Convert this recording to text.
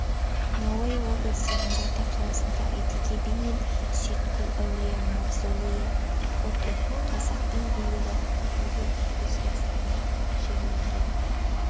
науаи облысы нұрата қаласындағы әйтеке би мен сейітқұл әулие мавзолейі фото қазақтың билері неге өзбекстанда жерленген